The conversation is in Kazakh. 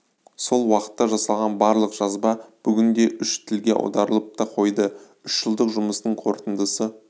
сол уақытта жасалған барлық жазба бүгінде үш тілге аударылып та қойды үш жылдық жұмыстың қорытындысы